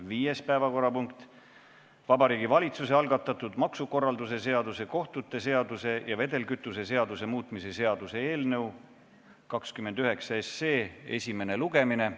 Viies päevakorrapunkt on Vabariigi Valitsuse algatatud maksukorralduse seaduse, kohtute seaduse ja vedelkütuse seaduse muutmise seaduse eelnõu 29 esimene lugemine.